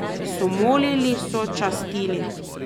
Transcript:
So molili, so častili...